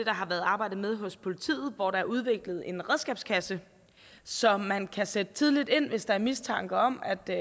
har været arbejdet med hos politiet hvor der er udviklet en redskabskasse så man kan sætte tidligt ind hvis der er mistanke om at der